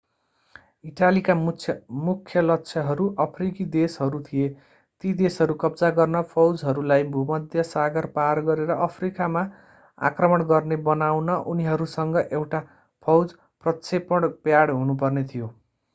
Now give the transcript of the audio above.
इटालीका मुख्य लक्ष्यहरू अफ्रिकी देशहरू थिए ती देशहरू कब्जा गर्न फौजहरूलाई भूमध्य सागर पार गरेर अफ्रिकामा आक्रमण गर्ने बनाउन उनीहरूसँग एउटा फौज प्रक्षेपण प्याड हुनुपर्ने थियो